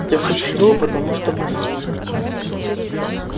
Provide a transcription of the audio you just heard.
я существую потому что мыслю